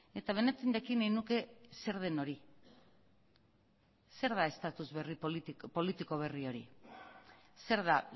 eta benetan jakin nahi nuke zer den hori zer da status politiko berri hori zer da